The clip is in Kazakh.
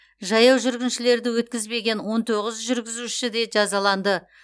жаяу жүргіншілерді өткізбеген он тоғыз жүргізуші де жазаланды